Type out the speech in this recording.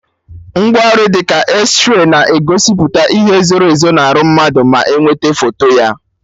Ngwaọrụ dị ka Ezray na-egosipụta ihe zoro ezo na arụ mmadụ ma nwete foto ya